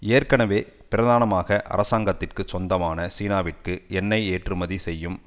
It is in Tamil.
ஏற்கனவே பிரதானமாக அரசாங்கத்திற்கு சொந்தமான சீனாவிற்கு எண்ணெய் ஏற்றுமதி செய்யும்